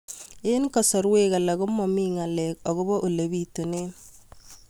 Eng' kasarwek alak ko mami ng'alek akopo ole pitunee